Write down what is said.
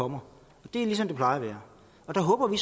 kommer det er ligesom det plejer at være og der håber vi